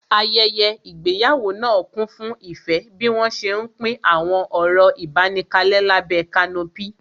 Ayẹyẹ ìgbéyàwó náà kún fún ìfẹ́ bí wọ́n ṣé ń pín àwọn ọ̀rọ̀ ìbánikalẹ́ lábẹ́ kanopí